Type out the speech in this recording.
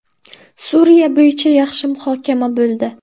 Suriya bo‘yicha yaxshi muhokama bo‘ldi.